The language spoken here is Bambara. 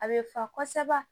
A bɛ fa kosɛbɛ